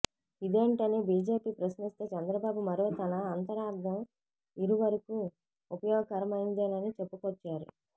ఇదేంటని BJP ప్రశ్నిస్తే చంద్రబాబు మరో తన అంతరార్థం ఇరువరకు ఉపయోగకరమైందేనని చెప్పుకొచ్చారు